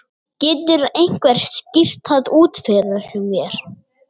Getur einhver skýrt það út fyrir mér?